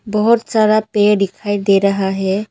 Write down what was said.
बहोत सारा पेड़ दिखाई दे रहा हैं।